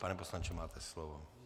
Pane poslanče, máte slovo.